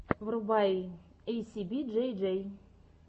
врубай эйсиби джей джей